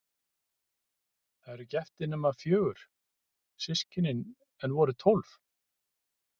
Þau eru ekki eftir nema fjögur, systkinin, en voru tólf.